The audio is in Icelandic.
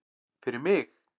Fyrir mig?